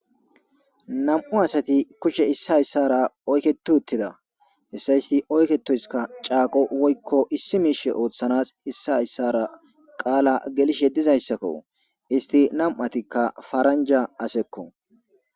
Nam7u asati kushe issa hyssara oyketi uttida hessa isti oyketoyskka caaqo woykko issi miishe ooththanas issa hyssara qaala gelishe dizayssakko isti nam7atikka faranja asekko.